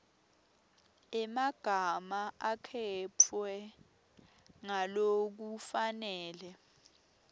emagama akhetfwe ngalokufanele